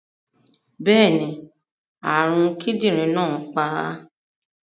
Bẹ́ẹ̀ni, àrùn kidinrin náà pa á.